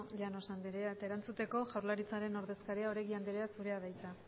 llanos andrea eta erantzuteko jaurlaritzaren ordezkaria oregi andrea zurea da hitza